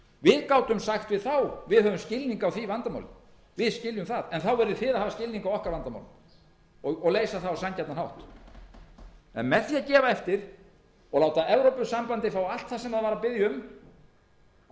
við gátum sagt við þá við höfum skilning á því vandamáli við skiljum það en þá verðið þið að hafa skilning á okkar vandamálum og leysa það á sanngjarnan hátt en með því að gefa eftir og láta evrópusambandið fá allt sem það bað um að